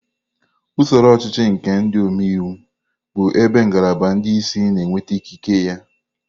Usoro ọchịchị nke ndị omeiwu bụ ebe ngalaba ndị isi na-enweta ikike ya.